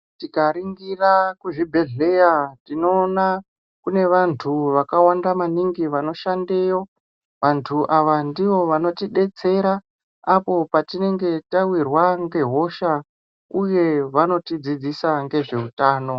Tikaringira kuzvibhedhlera tinoona kune vantu vakawanda maningi vanoshanda yo vantu ava ndivo vanoti detsera apo patichinge tawirwa nge hosha uye vanotidzidzisa nezveutano .